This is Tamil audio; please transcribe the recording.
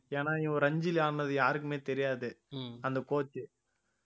ஏன்னா இவன் ரஞ்சில ஆடுனது யாருக்குமே தெரியாது அந்த coach